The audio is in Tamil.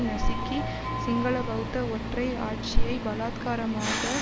நசுக்கி சிங்களபெளத்த ஒற்றை ஆட்சியை பலாத்காரமாக